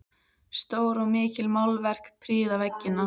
Stór og mikil málverk prýða veggina.